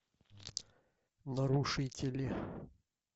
нарушители